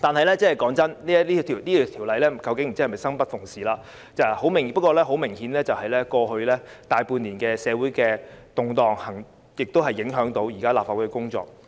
老實說，不知是否《條例草案》生不逢時，過去大半年的社會動盪亦明顯影響到現時立法會的工作。